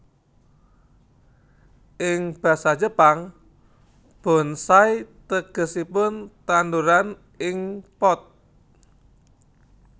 Ing basa Jepang bonsai tegesipun tandhuran ing pot